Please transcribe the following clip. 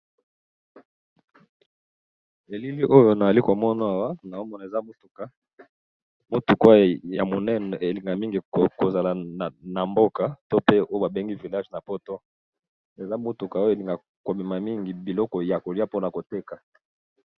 Elili oyo nali komona awa na omona eza motuka, motuka ya monene elinga mingi kozala na mboka to pe oyo babengi village na poto eza motuka oyo elinga komema mingi biloko ya kolia mpona koteka.